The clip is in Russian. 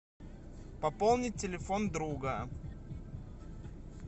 пополнить телефон друга